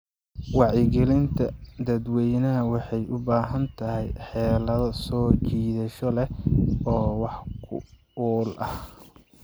Wacyigelinta dadweynaha waxay u baahan tahay xeelado soo jiidasho leh oo wax ku ool ah.